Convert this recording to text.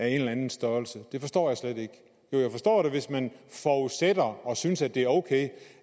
eller anden størrelse det forstår jeg slet ikke jo jeg forstår det hvis man forudsætter og synes det er ok